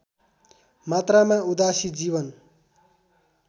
मात्रामा उदासी जीवन